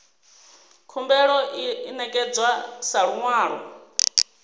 khumbelo i ṋekedzwa sa luṅwalo